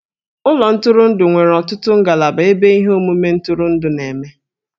Ụlọ ntụrụndụ nwere ọtụtụ ngalaba ebe ihe omume ntụrụndụ na-eme.